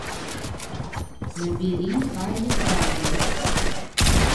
набери хаги траггер